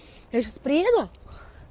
я сейчас приеду